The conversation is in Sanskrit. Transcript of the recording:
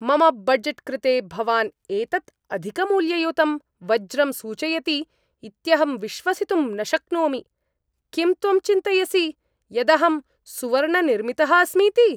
मम बजेट् कृते भवान् एतत् अधिकमूल्ययुतं वज्रं सूचयति इत्यहं विश्वसितुं न शक्नोमि। किं त्वं चिन्तयसि यदहं सुवर्णनिर्मितः अस्मीति?